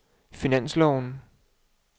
finansloven